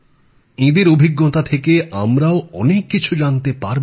এঁদের অভিজ্ঞতা থেকে আমরাও অনেক কিছু জানতে পারবো